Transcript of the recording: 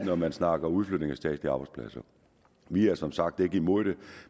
når man snakker om udflytning af statslige arbejdspladser vi er som sagt ikke imod det